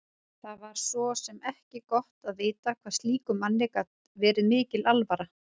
Það var svo sem ekki gott að vita hvað slíkum manni gat verið mikil alvara.